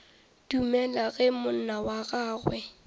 dumele ge monna wa gagwe